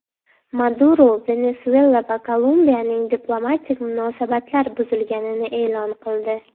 Maduro Venesuela va Kolumbiyaning diplomatik munosabatlar buzilganini e’lon qildi.